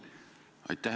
Aitäh!